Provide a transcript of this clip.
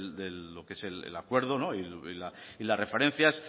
de lo que es el acuerdo y las referencias